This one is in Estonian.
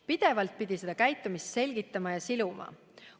Pidevalt pidi seda käitumist selgitama ja siluma.